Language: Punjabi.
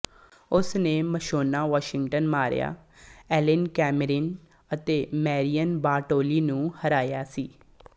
ਉਸ ਨੇ Mashona Washington Maria Elena Camerin ਅਤੇ ਮੈਰੀਅਨ ਬਾਰਟੋਲੀ ਨੂੰ ਹਰਾਇਆ ਸੀ